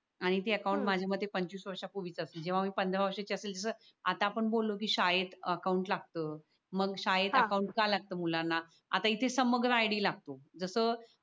आणि ते अकाउंट माझ्या मते पंच वीस वर्षांपूर्वी असल जेव्हा मी पंधरा वर्षाच असेल आता आपण बोललो की शाळेत अकाउंट लागतं मग शाळेत अकाउंट का लागत मुलांना आता इथे समग्र आयडी लागतो जस